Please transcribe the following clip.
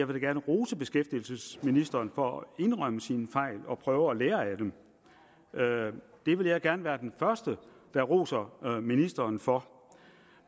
vil rose beskæftigelsesministeren for at indrømme sine fejl og prøve at lære af dem det vil jeg gerne være den første der roser ministeren for